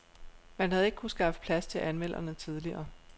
Man havde ikke kunnet skaffe plads til anmelderne tidligere.